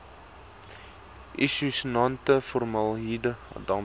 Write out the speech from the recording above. isosianate formaldehied dampe